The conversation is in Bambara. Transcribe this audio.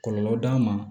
Kɔlɔlɔ d'a ma